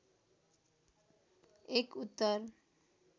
एक उत्तर